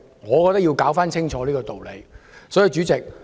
我覺得要搞清楚這個道理。